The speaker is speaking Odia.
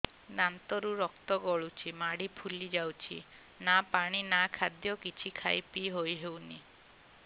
ଦାନ୍ତ ରୁ ରକ୍ତ ଗଳୁଛି ମାଢି ଫୁଲି ଯାଉଛି ନା ପାଣି ନା ଖାଦ୍ୟ କିଛି ଖାଇ ପିଇ ହେଉନି